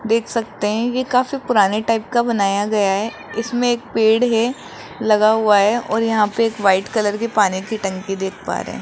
देख सकते हैं ये काफी पुराने टाइप का बनाया गया है इसमें एक पेड़ है लगा हुआ है और यहां पे एक व्हाइट कलर की पानी की टंकी देख पा रहे हैं।